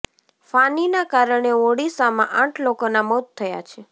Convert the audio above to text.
ફાનીના કારણે ઓડિશામાં આઠ લોકોના મોત થયા છે